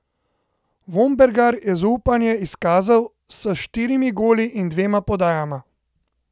Vombergar je zaupanje izkazal s štirimi goli in dvema podajama.